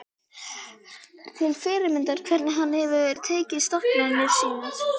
Það er til fyrirmyndar hvernig hann hefur rekið stofnanir sínar.